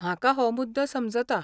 म्हाका हो मुद्दो समजता.